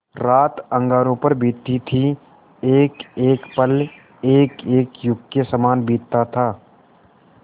रात अंगारों पर बीतती थी एकएक पल एकएक युग के सामान बीतता था